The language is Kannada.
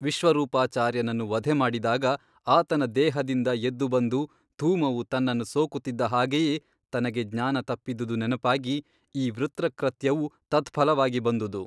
ವಿಶ್ವರೂಪಾಚಾರ್ಯನನ್ನು ವಧೆಮಾಡಿದಾಗ ಆತನ ದೇಹದಿಂದ ಎದ್ದು ಬಂದು ಧೂಮವು ತನ್ನನ್ನು ಸೋಕುತ್ತಿದ್ದ ಹಾಗೆಯೇ ತನಗೆ ಜ್ಞಾನ ತಪ್ಪಿದುದು ನೆನಪಾಗಿ ಈ ವೃತ್ರಕೃತ್ಯವು ತತ್ಫಲವಾಗಿ ಬಂದುದು.